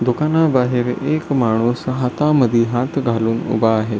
दुकानाबाहेर एक माणूस हातामध्ये हात घालून उभा आहे.